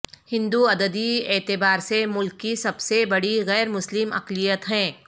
ہندو عددی اعتبار سے ملک کی سب سے بڑی غیرمسلم اقلیت ہیں